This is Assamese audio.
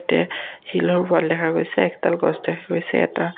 শিলৰ ৱাল দেখা গৈছে একডাল গছ দেখা গৈছে এটা--